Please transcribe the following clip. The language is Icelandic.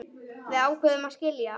Við ákváðum að skilja.